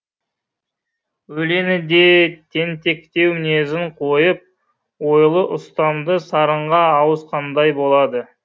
өлеңі де тентектеу мінезін қойып ойлы ұстамды сарынға ауысқандай болады